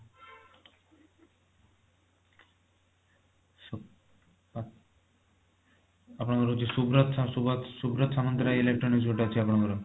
ଆପଣଙ୍କର ହଉଚି ସୁବ୍ରତ ସୁବ୍ରତ ସାମନ୍ତରାଯ electronics ଗୋଟେ ଅଛି ଆପଣଙ୍କର